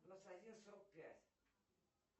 двадцать один сорок пять